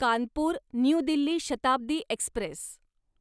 Kanpur new Delhi Shatabdi Express